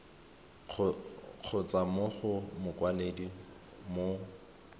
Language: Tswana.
kgotsa mo go mokwaledi mo